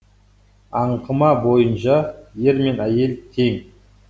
аңқыма бойынша ер мен әйел тең